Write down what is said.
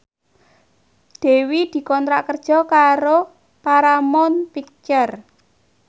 Dewi dikontrak kerja karo Paramount Picture